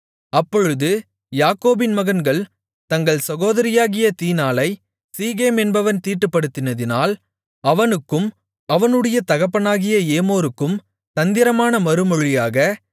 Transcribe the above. அப்பொழுது யாக்கோபின் மகன்கள் தங்கள் சகோதரியாகிய தீனாளை சீகேம் என்பவன் தீட்டுப்படுத்தினதால் அவனுக்கும் அவனுடைய தகப்பனாகிய ஏமோருக்கும் தந்திரமான மறுமொழியாக